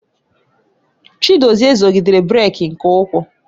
Chiagozie zọgidere brek nke ukwuu.